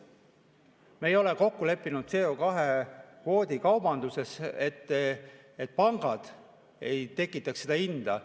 Me ei ole kokku leppinud CO2‑kvootide kaubanduses, et pangad ei tekitaks seda hinda.